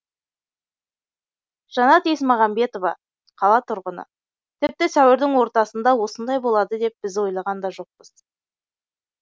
жанат есмағамбетова қала тұрғыны тіпті сәуірдің ортасында осындай болады деп біз ойлаған да жоқпыз